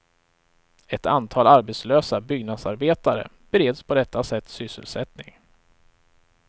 Ett antal arbetslösa byggnadsarbetare bereds på detta sätt sysselsättning.